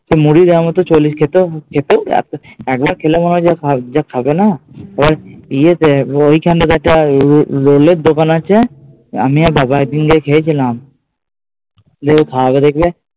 মুড়ি দেওয়ার মতো চল্লিশ টাকা এতো একবার খেলে মনে হবে যে খাই, যা খাবে না আবার ইয়ে দেয় ঐখান থেকে রোলের দোকান আছে আমি আর বাবা একদিন গিয়ে খেয়েছিলাম গিয়ে খাওয়াবে দেখবে